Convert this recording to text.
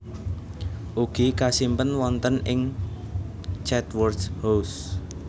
Ugi kasimpen wonten ing Chatsworth House